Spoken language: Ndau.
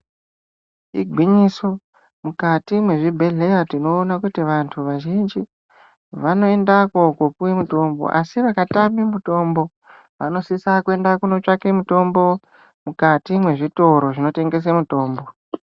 Igwinyiso mukati mezvibhedhlera tinoona kuti vantu vazhinji vanoendako kunopuwa mutombo asi wakatame mutombo wanosiswe kunotsvake mutombo mukati mezvitoro zvinotengesa mitombo.